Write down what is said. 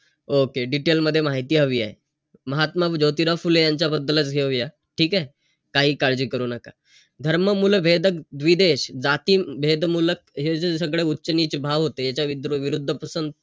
Okay detail मध्ये माहिती हवी आहे. महात्मा ज्योतिबा फुले यांच्याबद्दलच घेऊया. ठीकेय? काही काळजी करू नका. धर्ममूळवेदक द्विदेश जातीभेद मुलक हे जे सगळं उच्च-नीच भाव होते. याच्याविरुद्ध,